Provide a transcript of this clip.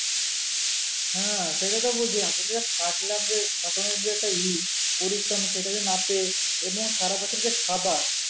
হ্যাঁ সেটাই তো বলছি এতদিন ধরে যে খাটলাম যে খাটনির যে একটা পরিশ্রম সেটা তো না পেয়ে এমন সারা বছরের যে খাবার